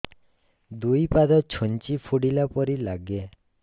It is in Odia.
ଦୁଇ ପାଦ ଛୁଞ୍ଚି ଫୁଡିଲା ପରି ଲାଗେ